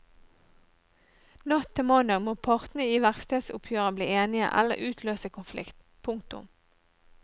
Natt til mandag må partene i verkstedoppgjøret bli enige eller utløse konflikt. punktum